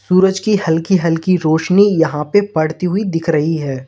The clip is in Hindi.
सूरज की हल्की हल्की रोशनी यहां पे पड़ती हुई दिख रही है।